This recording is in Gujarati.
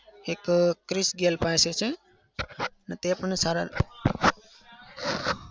એક ક્રિશ ગેલ પાસે છે ને તે પણ સારા